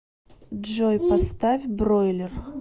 джой поставь бройлер